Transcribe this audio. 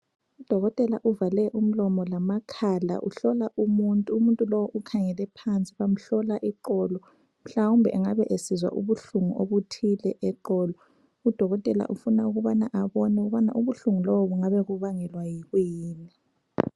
Udokotela uvale umlomo lamakhala. Uhlola umuntu. Umuntu lowo ukhangele phansi. Bamhlola iqolo. Mhlawumbe engabe esizwa ubuhlungu obuthile eqolo. Udokotela ufuna ukubana abone ukuba ubuhlungu lobu bungabe bubangelwa yikuyini.